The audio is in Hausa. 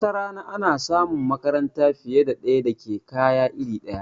Watarana ana samun makaranta fiye da ɗaya da ke kaya iri ɗaya